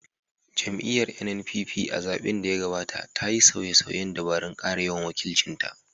Jam’iyyar NNPP, a zaɓen da ya gabata, ta yi sauye-sauyen dabarun kara yawan wakilcin ta